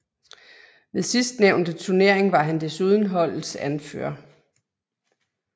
Ved sidstnævnte turnering var han desuden holdets anfører